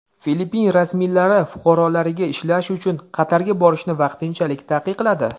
Filippin rasmiylari fuqarolariga ishlash uchun Qatarga borishni vaqtinchalik taqiqladi.